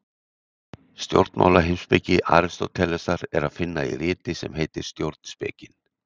Stjórnmálaheimspeki Aristótelesar er að finna í riti sem heitir Stjórnspekin.